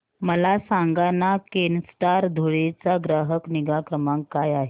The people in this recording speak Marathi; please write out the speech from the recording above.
मला सांगाना केनस्टार धुळे चा ग्राहक निगा क्रमांक काय आहे